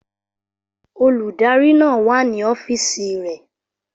Olùdarí náà wà ní ọ́fíìsì rẹ̀